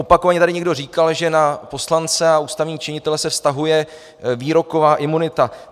Opakovaně tady někdo říkal, že na poslance a ústavní činitele se vztahuje výroková imunita.